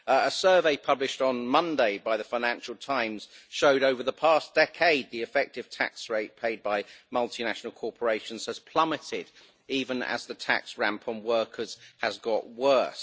A survey published on Monday by the Financial Times showed that, over the past decade, the effective tax rate paid by multinational corporations has plummeted, even as the tax ramp on workers has got worse.